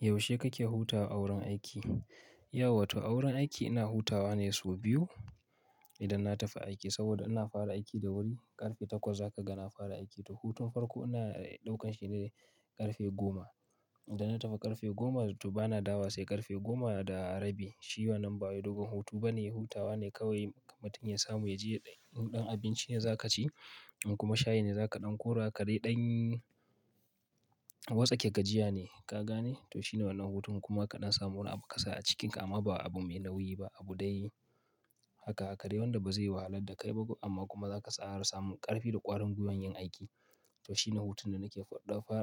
Yaushe kake hutawa a wurin aiki? Yawata wurin aiki ina hutawa ne sau biyu idan na tafi aiki saboda ina fara aiki da wuri ƙarfe takwas a ka gana fara aiki. To hutun farko ina ɗaukan shi ne ƙarfe goma. Idan na tafi ƙarfe goma to bana dawowa sai ƙarfe goma da rabi. Shi ba wannan nan ba wai dogon hutu bane, hutawa ne kawai. Mutum ya samu ya je yaɗan in ɗan abinci ne za ka ci in kuma shayi ne za kaɗan kora kare ɗan watsake gajiya ne ka gane. To shi ne wannan hutun kuma kaɗan samu wani abu ka sa a cikinka amma ba abu mai nauyi ba abu dai haka haka dai wanda ba zai wahalar da kai ba amma kuma za ka tsara samun ƙarfi da ƙwarin gwiwan yin aiki. To shi ne hutun da nake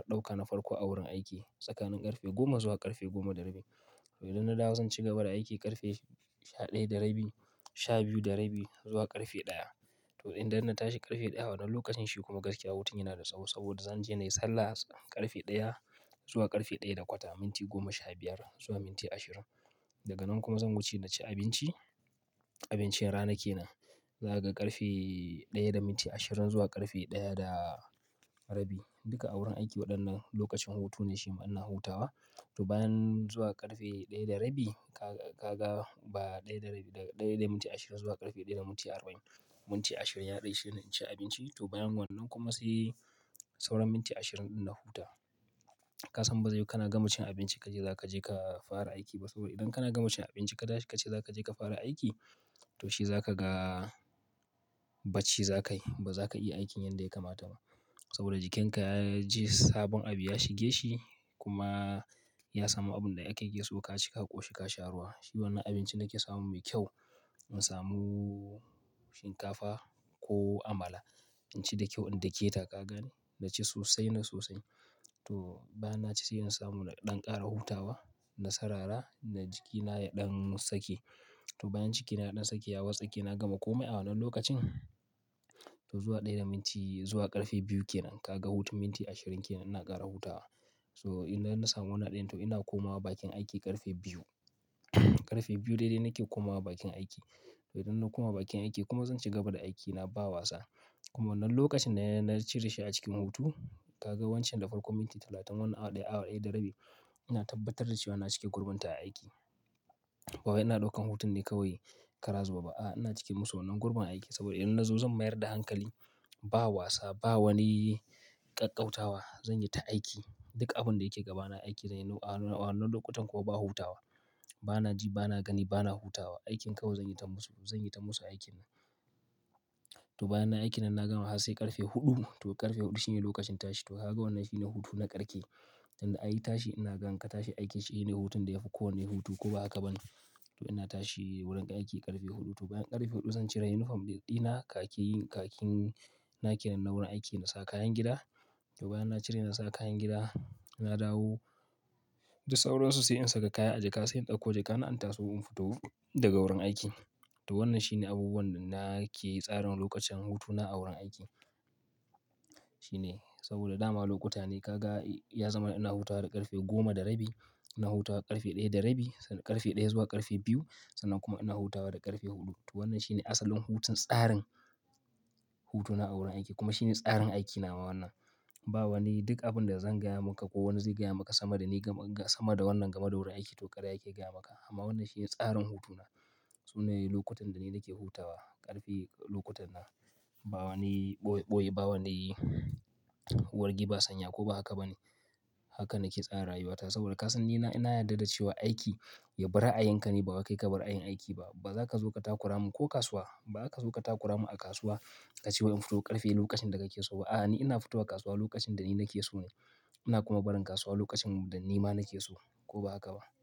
ɗauka na farko a wurin aiki tsakanin ƙarfe goma zuwa ƙarfe goma da rabi. To idan na dawo zan cigaba da aiki ƙarfe sha ɗaya da rabi, sha biyu da rabi zuwa ƙarfe ɗaya. To idan ina tashi ƙarfe ɗaya wannan lokacin shi kuma gaskiya hutun yana da tsawo saboda zan je na yi sallah ƙarfe ɗaya zuwa ƙarfe ɗaya da kwata, minti goma sha biyar zuwa minti ashirin. Daga nan kuma zan wuce na ci abinci, abincin ranake nan. Za kaga ƙarfe ɗaya da minti ashirin zuwa ƙarfe ɗaya da rabi. Duka a wurin aiki waɗannan lokacin hutu ne shi ma ina hutawa. To bayan zuwa ƙarfe ɗaya da rabi ka ga ba ɗaya da rabi daga ɗaya da minti ashirin zuwa ƙarfe ɗaya da minti arba'in. Minti ashirin yaɗai shine in ci abinci to bayan wannan kuma sai sauran minti ashirin ɗin na huta. Ka san ba zai yi kana gama cin abinci kaje za kaje ka fara aiki ba saboda idan kana gama cin abinci ka tashi kace za kaje ka fara aiki to shi za ka ga bacci za ka yi ba za ka iya aikin yanda ya kamata ba saboda jikinka ya ji sabon abu ya shige shi kuma ya samu abun da kake so ka ci ka ƙoshi ka sha ruwa. Shi wannan abinci nake samu mai kyau in samu shinkafa ko amala. In ci da kyau in dake ta ka gane na ci sosai na sosai. To bayan naci sai in samu na ɗan ƙara hutawa na sarara na jikina ya ɗan sake. To bayan jikina ya ɗan sake ya watsake na gama komai a wannan lokacin. To zuwa ɗaya da minti zuwa ƙarfe biyu kenan ka ga hutun minti ashirin kenan ina ƙara hutawa. To idan na samu wannan din to ina komawa bakin aiki karfe biyu, karfe biyu dede nake komawa bakin aiki. To idan na koma bakin aiki kuma zan cigaba da aiki na ba wasa. Kuma wannan lokacin da na cire shi a cikin hutu ka ga wancan na farko minti talatin wannan awa ɗaya awa ɗaya da rabi ina tabbatar da cewa ina cike gurbunta a aiki. Bawai ina ɗaukan hutun ne kawai kara zuwbe ba a ina cike musu wannan gurbin aiki saboda idan na zo zan mayar da hankali ba wasa ba wani ƙaƙƙautawa. Zan yi ta aiki duk abun da yake gabana aiki zanyi. Wannan lokutan kuwa ba hutawa bana ji bana gani bana hutawa. Aikin kawai zan yi ta musu zan yi ta musu aikin. To bayan nayi aiki nan na gama har sai ƙarfe huɗu. To ƙarfe huɗu shine lokacin tashi. To kaga wannan shine hutu na ƙarke. Tunda ai tashi ina ga in ka tashi aiki shine hutun da ya fi kowane hutu ko ba haka ba ne. To ina tashi wurin aiki ƙarfe huɗu. To bayan ƙarfe huɗu zan cire yunifom ɗina, khakin khakin nake na wurin aiki na sa kayan gida. To bayan na cire na sa kayan gida na dawo. Da sauran su sai in saka kaya a jaka sai in ɗauko jaka na in taso in fito daga wurin aiki. To wannan shine abubuwan da nake tsarin lokacin hutuna a wurin aiki. Shine saboda dama lokuta ne ka ga ya zama ina hutawa da ƙarfe goma da rabi, ina hutawa ƙarfe ɗaya da rabi, ƙarfe ɗaya zuwa ƙarfe biyu sannan kuma ina hutawa da ƙarfe huɗu. To wannan shine asalin hutun tsarin hutuna a wurin aiki kuma shine tsarin aikina ma wannan. Ba wani duk abin da zan gaya maka ko wani zai gaya maka sama da ni sama da wannan game da wurin aiki to ƙarya yake gaya maka amma wannan shine tsarin hutuna. Sune lokutan da ni nake hutawa ƙarfe lokutan nan ba wani ɓoye ɓoye ba wani wargi ba sanya ko ba haka ba ne. Haka nake tsara rayuwata saboda ka san ni ina yarda da cewa aiki ya bar a yanka ne ba wa kai kabar ayin aiki ba. Ba za ka zo ka takura mu ko kasuwa ba za ka zo ka takura mu a kasuwa ka ce wa in fito ƙarfe lokacin da kake so ba a ni ina fito wa kasuwa lokacin da ni nake so ne. Ina kuma barin kasuwa lokacin da nima nake so ko ba haka ba.